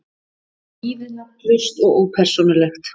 Lífið nafnlaust og ópersónulegt.